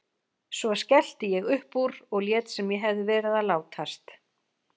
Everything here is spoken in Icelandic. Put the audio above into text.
Svo skellti ég upp úr og lét sem ég hefði verið að látast.